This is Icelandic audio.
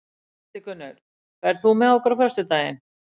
Hildigunnur, ferð þú með okkur á föstudaginn?